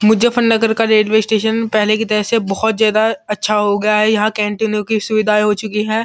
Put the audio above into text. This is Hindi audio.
मुजफ्फरनगर का रेलवे स्टेशन पहले की तरह से बोहोत ज्यादा अच्छा हो गया है। यहाँ कैंटीनों की सुविधाएं हो चुकी हैं।